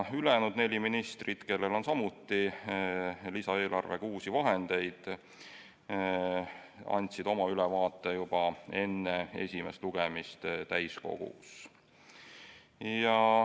Ülejäänud neli ministrit, kellele on samuti antud lisaeelarvega uusi vahendeid, andsid oma ülevaate juba enne esimest lugemist Riigikogu täiskogus.